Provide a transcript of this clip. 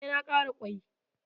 E, na ƙara ƙwai.